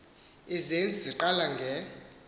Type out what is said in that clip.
izenzi eziqala nge